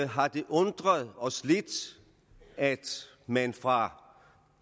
har det undret os lidt at man fra